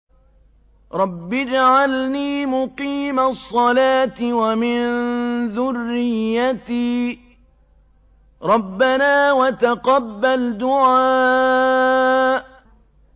رَبِّ اجْعَلْنِي مُقِيمَ الصَّلَاةِ وَمِن ذُرِّيَّتِي ۚ رَبَّنَا وَتَقَبَّلْ دُعَاءِ